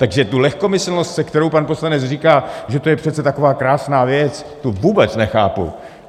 Takže tu lehkomyslnost, se kterou pan poslanec říká, že to je přece taková krásná věc, tu vůbec nechápu.